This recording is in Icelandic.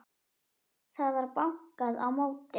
Það var bankað á móti.